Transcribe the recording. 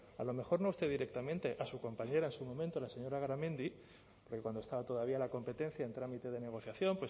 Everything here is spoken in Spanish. a lo mejor no usted directamente a su compañera en su momento la señora garamendi porque cuando estaba todavía la competencia en trámite de negociación